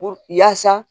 Puru yaasa